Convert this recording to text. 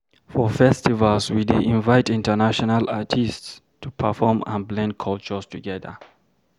For festivals, we dey invite international artists to perform and blend cultures together.